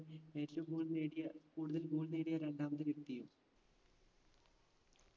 ദേശീയ goal നേടിയ കൂടുതൽ goal നേടിയ രണ്ടാമത് വ്യക്തിയും